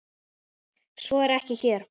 Svo er ekki hér.